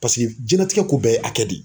Paseke jɛnnatigɛ ko bɛɛ ye akɛ de ye.